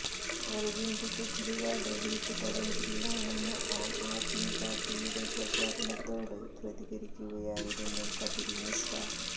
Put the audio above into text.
അരവിന്ദ് കെജരിവാള് വീട്ടു തടങ്കലിലാണെന്ന ആം ആദ്മി പാര്ട്ടിയുടെ പ്രചാരണത്തോട് പ്രതികരിക്കുകയായിരുന്നു കപില് മിശ്ര